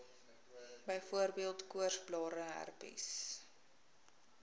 byvoorbeeld koorsblare herpes